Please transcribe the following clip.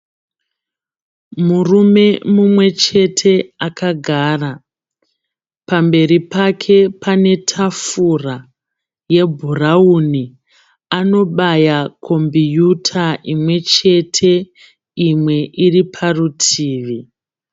Murume mumwechete akagara. Pamberi pake pane tafura yebhurauni. Anobaya kombiyuta imwechete. Imwe iri parutivi.